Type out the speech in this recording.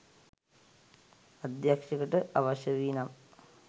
අධ්‍යක්ෂකට අවශ්‍ය වී නම්